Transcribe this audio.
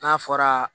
N'a fɔra